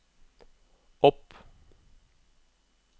opp